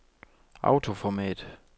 autoformat